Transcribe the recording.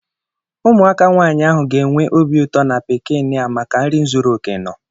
Ụmụaka nwaanyị ahụ ga-enwe obi ụtọ na pikiniki a maka nri zuru okè nọ.